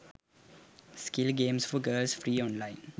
skill games for girls free online